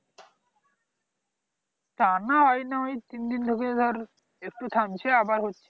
টানা হয় নি ওই তিন দিন ধরে ধর একটু থামছে আবার হচ্ছে